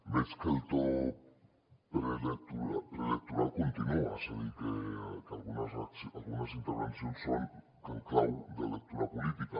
veig que el to preelectoral continua és a dir que algunes intervencions són en clau de lectura política